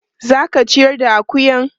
Za ka ciyar da akuyan?